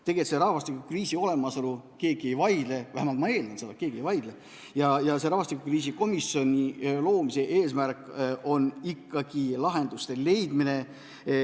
Tegelikult selle rahvastikukriisi olemasolu üle keegi ei vaidle – ma vähemalt eeldan, et keegi ei vaidle – ja rahvastikukriisi komisjoni loomise eesmärk on ikkagi lahenduste leidmine.